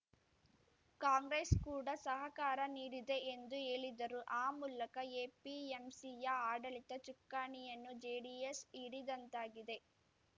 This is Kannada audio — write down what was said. ಕಾಂಗ್ರೆಸ್‌ ಕೂಡ ಸಹಕಾರ ನೀಡಿದೆ ಎಂದು ಹೇಳಿದರು ಆ ಮೂಲಕ ಎಪಿಎಂಸಿಯ ಆಡಳಿತ ಚುಕ್ಕಾಣಿಯನ್ನು ಜೆಡಿಎಸ್‌ ಹಿಡಿದಂತಾಗಿದೆ